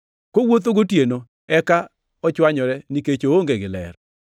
Kowuotho gotieno eka ochwanyore, nikech oonge gi ler.”